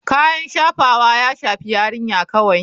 Kayan shafawa ya shafi yarinya kawai.